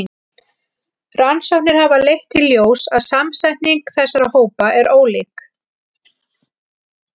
Rannsóknir hafa leitt í ljós að samsetning þessara hópa er ólík.